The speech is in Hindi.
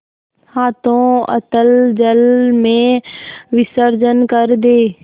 हाथों अतल जल में विसर्जन कर दे